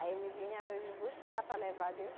Aí ele vinha nos buscar para levar de